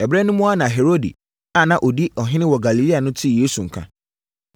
Ɛberɛ no mu ara na Herode a na ɔdi ɔhene wɔ Galilea no tee Yesu nka.